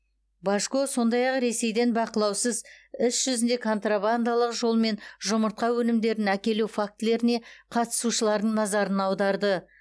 божко сондай ақ ресейден бақылаусыз іс жүзінде контрабандалық жолмен жұмыртқа өнімдерін әкелу фактілеріне қатысушылардың назарын аударды